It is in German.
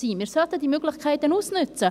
Wir sollten die Möglichkeiten ausnützen.